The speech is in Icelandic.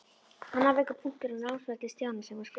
Annar veikur punktur á námsferli Stjána var skriftin.